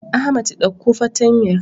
Ahmad ɗauko fartanyar.